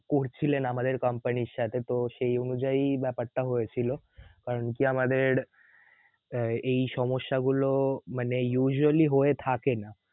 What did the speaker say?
করছিলেন আমাদের company এর সাথে তো সেই অনুযায়ীই ব্যাপারটা হয়েছিল কারকি আমাদের এই সমস্যাগুলোও মানে usually হয়ে থাকে না